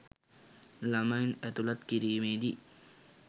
ළමයින් ඇතුළත් කිරීමේදී